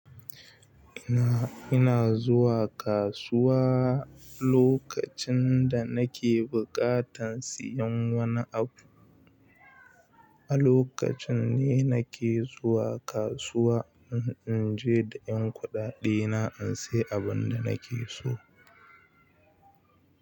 Ina, ina zuwa kasuwa lokacin da nake buƙatan siyan wani abu. A lokacin ne nake zuwa kasuwa in je da ƴan kuɗaɗe na in sayi abin da nake so.